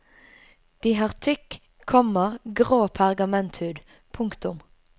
De har tykk, komma grå pergamenthud. punktum